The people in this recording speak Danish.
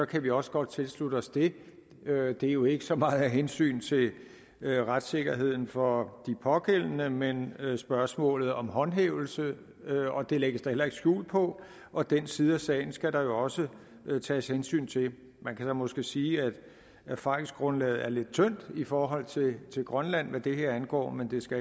kan vi også godt tilslutte os det er jo ikke så meget af hensyn til retssikkerheden for de pågældende men spørgsmålet om håndhævelse det lægges der heller ikke skjul på og den side af sagen skal der jo også tages hensyn til man kan måske sige at erfaringsgrundlaget er lidt tyndt i forhold til grønland hvad det her angår men det skal